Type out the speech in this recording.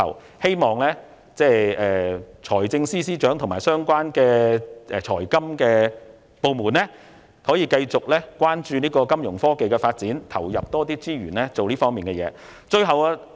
我希望財政司司長和相關的財金部門可以繼續關注金融科技的發展，投入更多資源以促進這方面的發展。